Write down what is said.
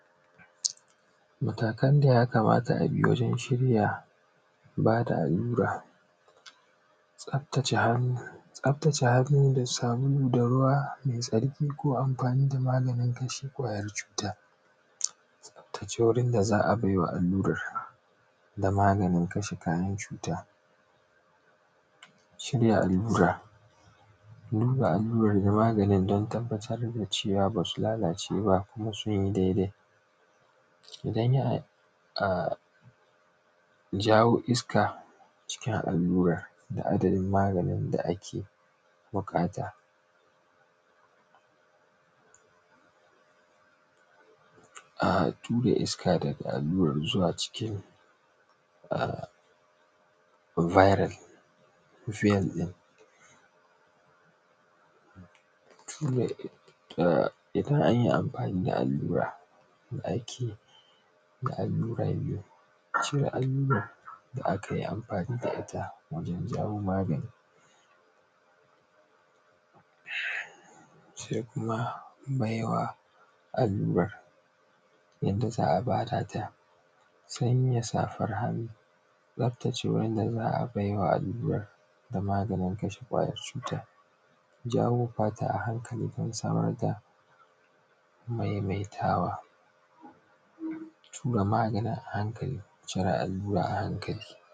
Matakan daya kamata abi wajen shirya bada allura. Tsaftace hannu, tsaftace hannu da sabulu da ruwa mai tsarki ko amfani da magani kashe kwayar cuta, tsaftace wurin da za a baiwa allurar da maganin kashe kwayar cuta, shirya allura duba allura da maganin don tabbatar da cewa basu lalace ba kuma sunyi daidai, idan ya jawo iska cikin alurar da adadin maganin da ake buƙata. Tura iska daga allura zuwa c cikin a biral kufiyel din, A’a idan anyi amfani da allura da ake da allura biyu sai allurar da akai amfani da ita wajen jawo magani hmm sai kuma baiwa allurar yanda za a bada ta sanya safar hannu tsaftace wanda za a baiwa allurar da maganin kashe kwayar cuta, jawo fata a hankali don samar da maimaitawa, tura maganin a hankali cire allura a hankali.